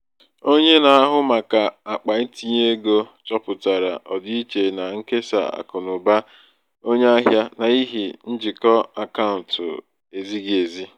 onye na-ahụ maka akpa itinye ego chọpụtara ọdịiche na nkesa akụnụba onye ahịa n’ihi um njikọ akaụntụ ezighi ezi.